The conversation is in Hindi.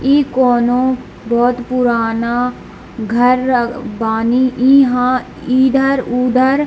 ई कोनो बहुत पुराना घर बानी | यहाँ इधर-उधर --